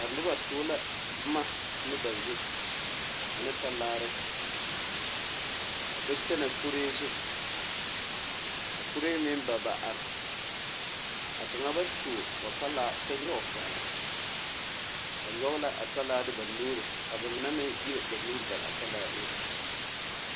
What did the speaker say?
Noba tuo la boma ane ba zu ane talaare a do kyɛnɛ kuree zu ka kuree meŋ baba are a kaŋa ba tuo o talaa kyɛ nyɔɡe a pɛɡele ba nyɔɡe la a talaa ne ba nuuri ka ba mine meŋ iri ba nuuri bare a talaa eŋɛ.